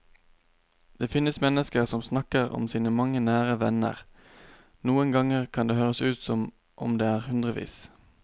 Det finnes mennesker som snakker om sine mange nære venner, noen ganger kan det høres ut som om det er hundrevis.